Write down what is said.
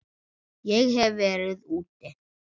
Ég hef verið úti.